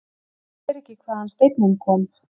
Sér ekki hvaðan steinninn kom.